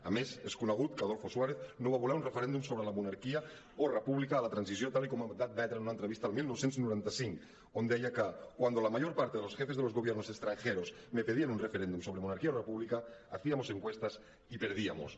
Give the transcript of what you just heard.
a més és conegut que adolfo suárez no va voler un referèndum sobre la monarquia o república a la transició tal com va admetre en una entrevista el dinou noranta cinc on deia que cuando la mayor parte de los jefes de los gobiernos extranjeros me pidieron un referéndum sobre monarquía o república hacíamos encuestas y perdíamos